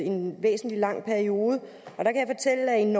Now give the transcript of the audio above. en ret lang periode